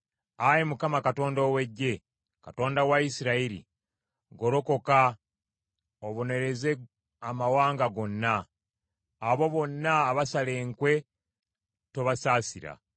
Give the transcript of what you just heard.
Ayi Mukama Katonda ow’Eggye, Katonda wa Isirayiri, golokoka obonereze amawanga gonna; abo bonna abasala enkwe tobasaasira.